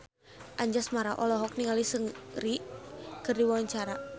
Anjasmara olohok ningali Seungri keur diwawancara